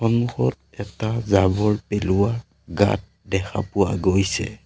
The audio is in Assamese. সন্মুখত এটা জাৱৰ পেলোৱা গাঁত দেখা পোৱা গৈছে।